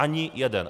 Ani jeden.